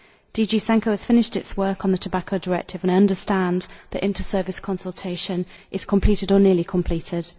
DG SANCO has finished its work on the Tobacco Directive and I understand that inter service consultation is complete or nearly completed.